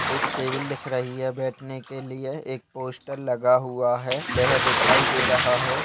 एक टेबल दिख रही है बैठने के लिए एक पोस्टर लगा हुआ है वह दिखाई दे रहा है।